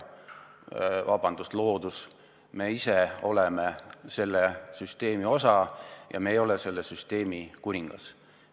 Ja meie ise oleme selle süsteemi osa, me ei ole selle süsteemi kuningas.